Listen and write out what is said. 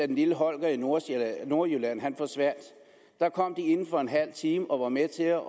den lille holger i nordjylland nordjylland forsvandt der kom de inden for en halv time og var med til at